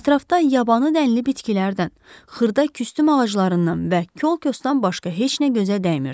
Ətrafda yabanı dənlə bitkilərdən, xırda küstüm ağaclarından və kolkosdan başqa heç nə gözə dəymirdi.